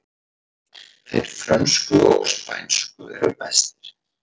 Þeir frönsku og spænsku eru bestir